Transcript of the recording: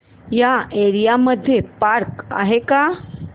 या एरिया मध्ये पार्क आहे का